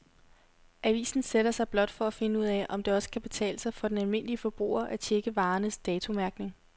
Avisen sætter sig blot for at finde ud af, om det også kan betale sig for den almindelige forbruger at checke varernes datomærkning.